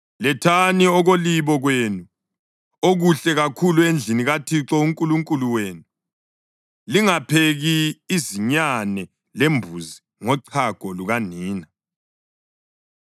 Lethani okolibo kwenu okuhle kakhulu endlini kaThixo uNkulunkulu wenu. Lingapheki izinyane lembuzi ngochago lukanina.”